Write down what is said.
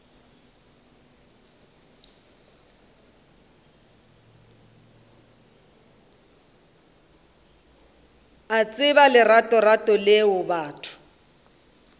a tseba leratorato leo batho